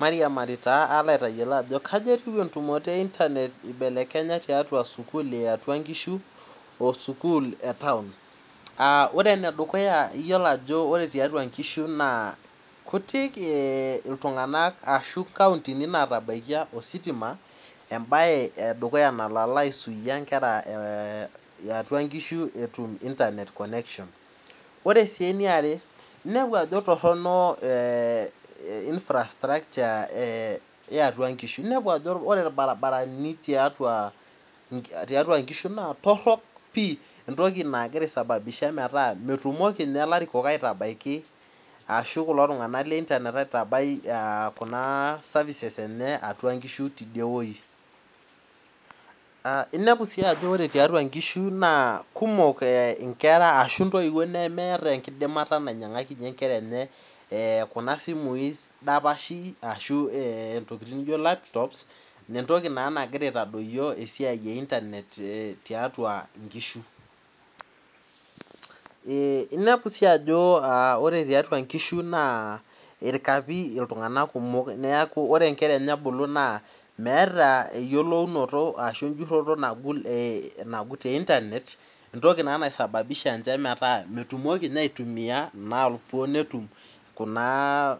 Mairiamari taa aalo aitayiolo ajo kaja etou endumoto einternet eibelekenya tiatua sukuul eatwa ngishu o sukuul e taon Ore enedukuya iyolo ajo ore tiatua ingishu naa kutik iltung'anak ashu kaontini natabaikia ositima em'bae edukuya nalo alaisuia inkera iatua ngishu etum internetconnection Ore sii eniare ninepu ajo torhono einfrastrakcha eatua ngishu inepu ajo ore ilbaribarani tiatua ngishu naa torhok pii entoki nagira aisababisha metaa metumoki ninye ilarikok aitabaiki ashu kulo tung'anak leinternet aitabai kuna services enye atua ngishu tidiewuei Inepu sii ajo ore tiatua ngishu naa kumok ingera ashu intoiwuo nemeeta engidimata ninyang'akinye inkera enye kuna simui dapashi ashu ntokiting nijo elaptops entoki naa nagira aitadoyio esiai einternet tiatua ngishu Inepu sii ajo ore tiatua ngishu naa ilkapi iltunganak kumok niaku ore inkera enye ebulu naa meeta eyiolounoto ashu ejurhoto nagut einternet entoki naa naisababisha metumoki ninye aitumia napuo netum naa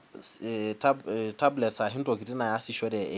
intableti ashu ntokiting naasishore